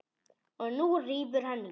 Og nú rífur hann í.